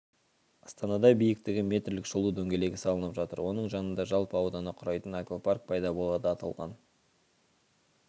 астанада биіктігі метрлік шолу дөңгелегі салынып жатыр оның жанында жалпы ауданы құрайтын аквапарк пайда болады аталған